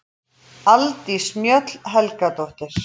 Aldís Mjöll Helgadóttir